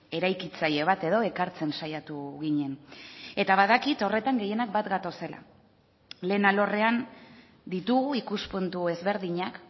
eraikitzaile bat edo ekartzen saiatu ginen eta badakit horretan gehienak bat gatozela lehen alorrean ditugu ikuspuntu ezberdinak